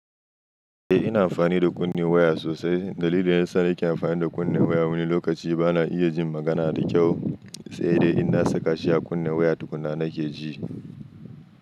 Eh ina amfani da kunne waya sosai. Dalilin yasa nake amfani da kunne waya wani lokaci bana iya jin magana da kyau sai dai in na saka shi a kunne waya tukuna nake ji.